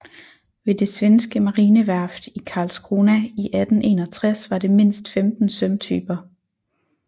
Ved det svenske marineværft i Karlskrona i 1861 var det mindst 15 sømtyper